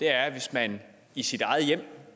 er hvis man i sit eget hjem